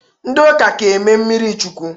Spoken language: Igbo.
Ndi ụka ka eme mmiri chukwụ.